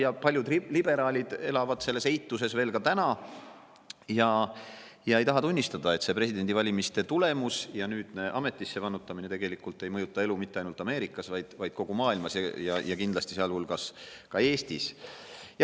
Ja paljud liberaalid elavad selles eituses veel praegugi ega taha tunnistada, et see presidendivalimiste tulemus ja nüüdne ametisse vannutamine tegelikult ei mõjuta elu mitte ainult Ameerikas, vaid mõjutab kogu maailmas, sealhulgas kindlasti Eestis.